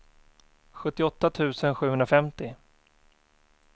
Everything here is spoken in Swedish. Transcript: sjuttioåtta tusen sjuhundrafemtio